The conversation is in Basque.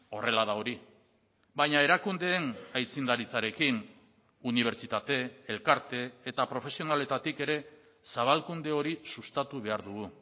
horrela da hori baina erakundeen aitzindaritzarekin unibertsitate elkarte eta profesionaletatik ere zabalkunde hori sustatu behar dugu